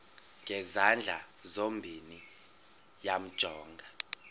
ngezandla zozibini yamjonga